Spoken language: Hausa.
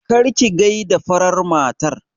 Kar ki gaida farar matar!